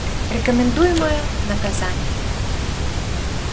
рекомендуемое наказание